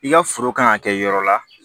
I ka foro kan ka kɛ yɔrɔ la